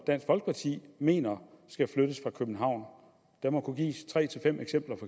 de mener skal flyttes fra københavn der må kunne gives tre